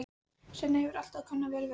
Svenni hefur alltaf kunnað vel við hana.